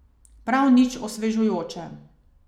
Prav nič osvežujoče.